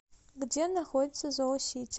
где находится зоосити